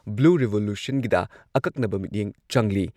Blue ꯔꯤꯚꯣꯂꯨꯁꯟꯒꯤꯗ ꯑꯀꯛꯅꯕ ꯃꯤꯠꯌꯦꯡ ꯆꯪꯂꯤ꯫